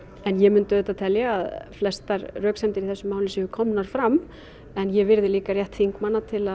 en ég myndi auðvitað telja að flestar röksemdir í þessu máli séu komnar fram en ég virði líka rétt þingmanna til